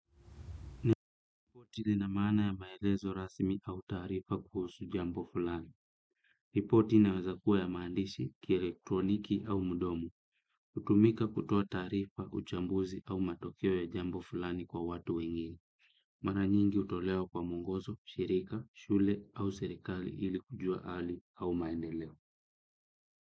Ripoti lina mana ya maelezo rasimi au tarifa kuhusu jambo fulani. Ripoti inawezakuwa ya mandishi ki elektroniki au mdomo. Utumika kutoa tarifa, uchambuzi au matokeo ya jambo fulani kwa watu wengine. Maranyingi utolewa kwa mwongozo, shirika, shule au serikali ili kujua ali au maendeleo.